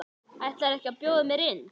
Ætlarðu ekki að bjóða mér inn?